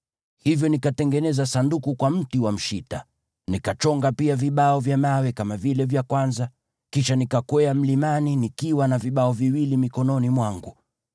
Hivyo nikatengeneza Sanduku kwa mti wa mshita, nikachonga pia vibao vya mawe kama vile vya kwanza, kisha nikakwea mlimani nikiwa na vibao viwili mikononi mwangu.